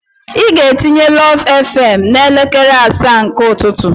Ị ga-etinye lụv fm n'elekere asaa nke ụtụtụ.